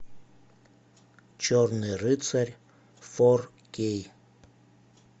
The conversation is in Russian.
черный рыцарь фор кей